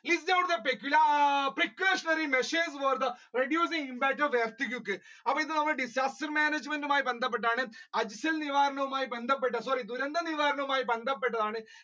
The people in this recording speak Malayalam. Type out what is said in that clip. list out the pecula, precautionary measures for the reducing impact of earthquake അപ്പൊ ഇത് നമ്മൾ disaster management മായി ബന്ധപ്പെട്ടാണ് നിവാരണവുമായി ബന്ധപ്പെട്ടതാണ് sorry ദുരന്ത നിവാരണവുമായി ബന്ധപ്പെട്ടതാണ്.